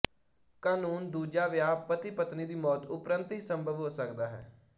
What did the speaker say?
ਕਾਨੂੰਨ ਦੂਜਾਵਿਆਹ ਪਤੀਪਤਨੀ ਦੀ ਮੌਤ ਉੱਪਰੰਤ ਹੀ ਸੰਭਵ ਹੋ ਸਕਦਾ ਹੈ